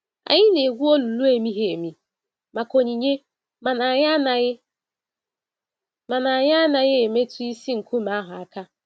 Anyị na-egwu olulu emighi-emi maka onyinye mana anyị anaghị mana anyị anaghị emetụ isi nkume ahụ aka.